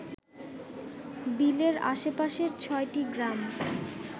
বিলের আশেপাশের ছয়টি গ্রাম